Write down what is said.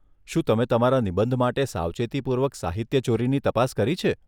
શું તમે તમારા નિબંધ માટે સાવચેતીપૂર્વક સાહિત્યચોરીની તપાસ કરી છે?